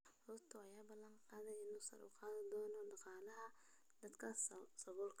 Ruto ayaa ballan qaaday in uu sare u qaadi doono dhaqaalaha dadka saboolka ah.